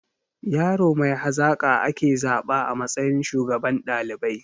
Yaro mai hazaƙa ake zaba a matsayin shugaban ɗalibai